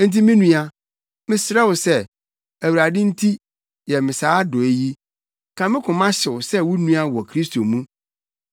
Enti me nua, mesrɛ wo sɛ, Awurade nti, yɛ me saa adɔe yi; ka me koma hyew sɛ wo nua wɔ Kristo mu.